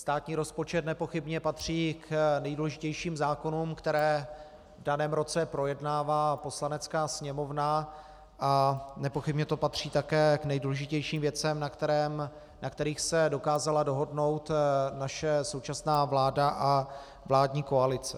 Státní rozpočet nepochybně patří k nejdůležitějším zákonům, které v daném roce projednává Poslanecká sněmovna, a nepochybně to patří také k nejdůležitějším věcem, na kterých se dokázala dohodnout naše současná vláda a vládní koalice.